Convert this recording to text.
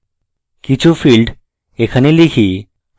কিছু fields এখানে type